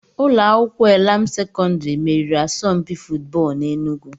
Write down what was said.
Ụlọ akwụkwọ Elam Sekọndiri meriri asọmpi fụtbọọlu n'Enugwu.